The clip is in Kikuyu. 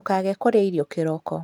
Ndũkage kũrĩa irio kĩroko